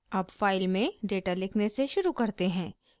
अब फाइल में डेटा लिखने से शुरू करते हैं